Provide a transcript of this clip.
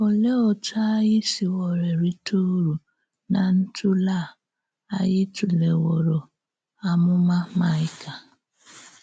Olèé òtú ányị sìwòrò rìté ǔrù ná ntùlè à ányị tùlèwòrò àmúmà Maịka?